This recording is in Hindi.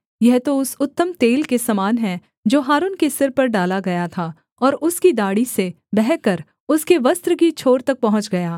यह तो उस उत्तम तेल के समान है जो हारून के सिर पर डाला गया था और उसकी दाढ़ी से बहकर उसके वस्त्र की छोर तक पहुँच गया